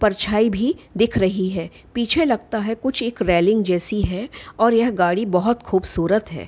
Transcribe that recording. परछाई भी दिख रही है | पीछे लगता है कुछ एक जैसी है और यह गाड़ी बहुत खूबसूरत है ।